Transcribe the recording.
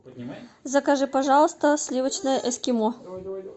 закажи пожалуйста сливочное эскимо